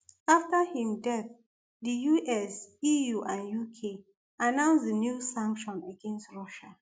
afta im death di us eu and uk announce new sanctions against russia